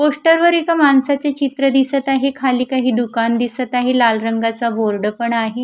पोस्टरवर एका माणसाचे चित्र दिसत आहे खाली काही दुकान दिसत आहे लाल रंगाचा बोर्ड पण आहे.